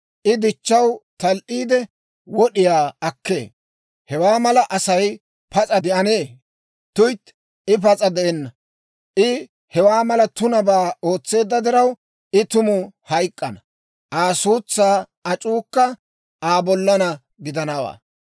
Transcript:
I dichchaw tal"iide, wod'iyaa akkee. Hewaa mala Asay pas'a de'anee? Tuytti, I pas'a de'enna! I hewaa mala tunabaa ootseedda diraw, I tuma hayk'k'ana; Aa suutsaa ac'uukka Aa bollaanna gidanawaa.